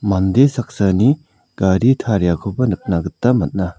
mande saksani gari tariakoba nikna gita man·a.